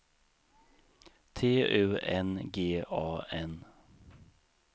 T U N G A N